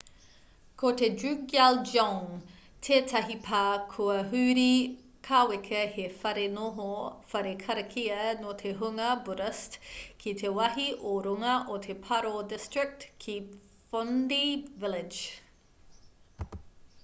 ko te drukgyal dzong tētahi pā kua huri kāweka he whare noho whare karakia nō te hunga buddhist ki te wāhi ō-runga o te paro district ki phondey village